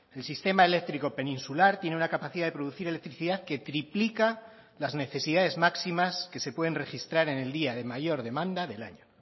el sistema eléctrico peninsular tiene una capacidad de producir electricidad que triplica las necesidades máximas que se pueden registrar en el día de mayor demanda del año